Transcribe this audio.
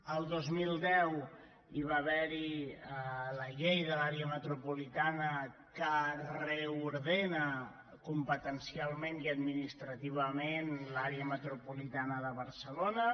el dos mil deu hi va haver la llei de l’àrea metropolitana que reordena competencialment i administrativament l’àrea metropolitana de barcelona